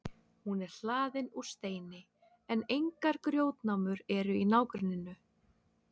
hún er hlaðin úr steini en engar grjótnámur eru í nágrenninu